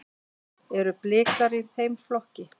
Eru Blikar í þeim flokki?